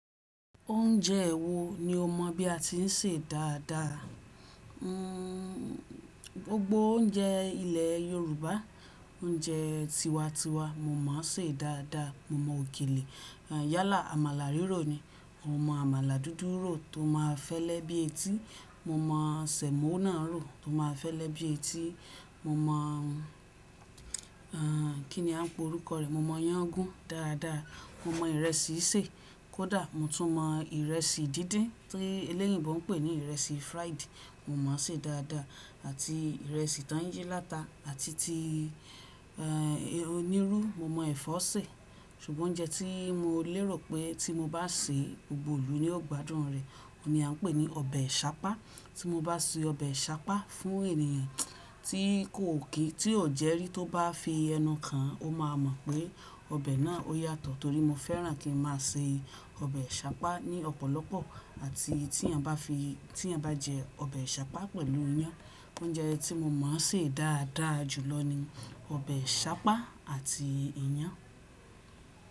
Oúnjẹ wo ni o mọ̀ bí a ti ń sè dáadáa? Gbogbo oúnjẹ ilẹ̀ Yorùbá, oúnjẹ tiwa tiwa mo mọ̀ ọ́ sè dáadáa. Mo mọ̀ òkèlè, yálà, àmàlà rírò ni. Mo mọ̀ àmàlà dúdú rò tó máa fẹ́lẹ́ bí etí. Mo mọ̀ sẹ̀mọ́ náà rò tó máa fẹ́lẹ́ bí etí. Mo mọ̀, ẹ́èn, kí ni à ń pe orúkọ rẹ̀? Mo mọ̀ ìyàn gún dáadáa. Mo mọ ìrẹsì sè kó dà, Mo tún mọ ìrẹ́sì díndín tí eleyìnbó ń pè ní ìrẹ́sì fried, mo mọ̀ ọ́ sè é dáadáa àti ìrẹ́sì tó ń yí láta àti ti, ẹ́ẹ̀, onírú mo mọ̀ ẹ̀fọ́ sè. Ṣùgbọ́n oúnjẹ tí mo lérò pé tí mo bá sè, gbogbo ìlú ni ó gbádùn rẹ̀, òun ni a ń pè ní ọbẹ̀ ṣápá. Tí mo bá sè ọbẹ̀ ṣápá fún ènìyàn tí kò kí tí ò jẹ rí, tó bá fi ẹnu kan, ó máa mọ̀ pé ọbẹ̀ náà ó yàtọ̀ torí mo fẹ́ràn kí n máa sè ọbẹ̀ ṣápá ní ọ̀pọ̀lọpọ̀ àti tí èèyàn bá fi, tí ẹ bá jẹ ọbẹ̀ ṣápá pẹ̀lú iyán. Oúnjẹ tí mo mọ̀ sè dáadáa jùlọ ni ọbẹ̀ ṣápá àti iyán.